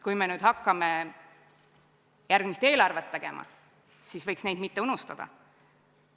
Kui me nüüd hakkame järgmist eelarvet tegema, siis võiks neid mitte unustada.